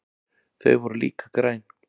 Þau voru líka græn.